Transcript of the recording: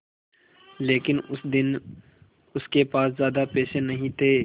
लेकिन उस दिन उसके पास ज्यादा पैसे नहीं थे